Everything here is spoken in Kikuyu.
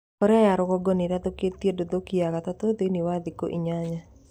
Korea ya rũgongo nĩĩrathũkĩtie "nduthũki" ya gatatũ thĩiniĩ wa thĩkũ inyanya